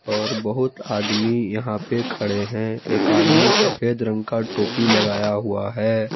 और बहुत आदमी यहां पे खड़े हैं एक आदमी सफेद रंग का टोपी लगाया हुआ है।